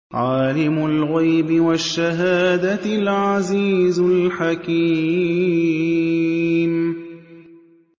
عَالِمُ الْغَيْبِ وَالشَّهَادَةِ الْعَزِيزُ الْحَكِيمُ